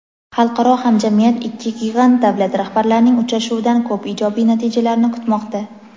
xalqaro hamjamiyat ikki gigant davlat rahbarlarining uchrashuvidan ko‘p ijobiy natijalarni kutmoqda.